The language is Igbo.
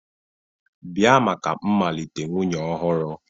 Bia maka mmalite nwunye ọhụrụ